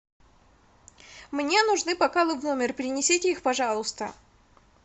мне нужны бокалы в номер принесите их пожалуйста